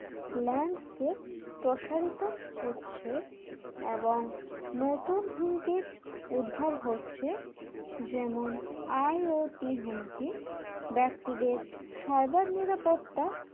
landscape প্রসারিত হচ্ছে এবং নতুন হুমকির উদ্ভব হচ্ছে যেমন IOT হুমকি ব্যক্তিদের cyber নিরাপত্তা